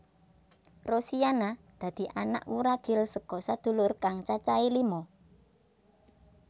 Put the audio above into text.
Rosiana dadi anak wuragil saka sadulur kang cacahé lima